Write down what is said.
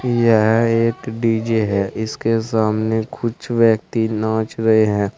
यह एक डी_जे है इसके सामने कुछ व्यक्ति नाच रहे हैं।